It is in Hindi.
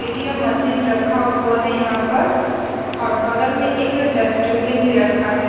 ए.टी.एम. मशीन रखा हुआ है यहाँ पर और बगल में एक डस्टबिन भी रखा है।